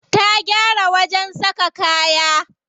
Ta gyara wajen saka kaya.